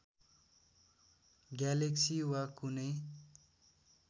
galaxy वा कुनै